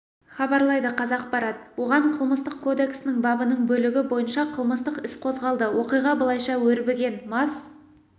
хабарлайды қазақпарат оған қылмыстық кодексінің бабының бөлігі бойынша қылмыстық іс қозғалды оқиға былайша өрбіген мас